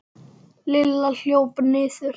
Lilla hljóp niður.